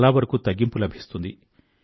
చాలావరకూ తగ్గింపు లభిస్తుంది